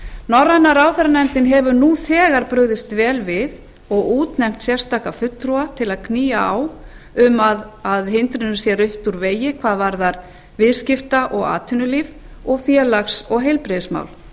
norræna ráðherranefndin hefur nú þegar brugðist vel við og útnefnt sérstaka fulltrúa til að knýja á um að hindrunum sé rutt úr vegi hvað varðar viðskipta og atvinnulíf og félags og heilbrigðismál